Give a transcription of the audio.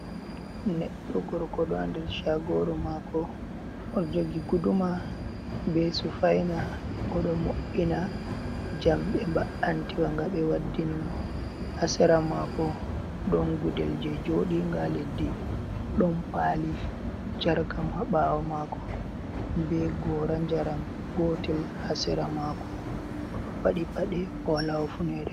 Neɗɗo gorko ɗo ha nder shagoru mako o ɗo jogi guduma be sufaina, oɗo mo’ina jamɗe ba’anti wa nga ɓe waddini mo, ha sera mako ɗon gudel je joɗi nga leddi ɗon pali jarkam ha ɓawo mako, be gora njaram gotel ha sera mako, o ɗo padi paɗe owala hufunere.